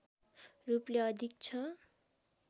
रूपले अधिक छ